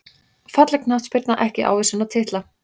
Falleg knattspyrna ekki ávísun á titla